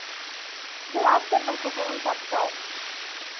бұл автордың құқығын таптау